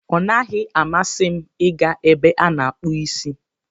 Ọ naghị amasị m ị ga ebe a na-akpụ isi.